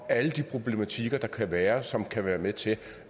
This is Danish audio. alle de problematikker der kan være som kan være med til